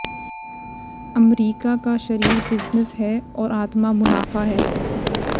अमरीका का शरीर बिजनेस है और आत्मा मुनाफा है